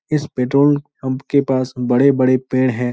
इस petrol pump के पास बड़े-बड़े पेड़ हैं।